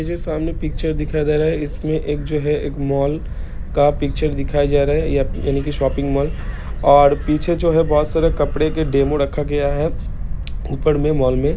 ये जो सामने पिक्चर दिखाया जा रहा है इसमे एक जो है एक मॉल का पिक्चर दिखाया जा रहा है या-यानि के शॉपिंग मॉल ओर पीछे जो है बोहोत सारे कपड़ों का डेमो रखा गया है ऊपर मे मॉल मे--